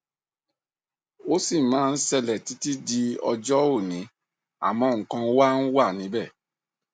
ó sì máa ń ṣẹlẹ títí di ọjọ òní àmọ nǹkan wá wa níbẹ